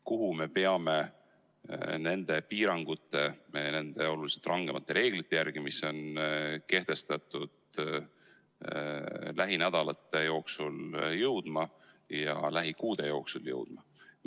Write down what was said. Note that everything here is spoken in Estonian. Kuhu me peame nende piirangute, nende oluliselt rangemate reeglite järgi, mis on kehtestatud, lähinädalate ja lähikuude jooksul jõudma?